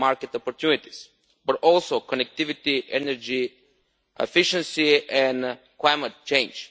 and market opportunities but also connectivity, energy, efficiency and climate change.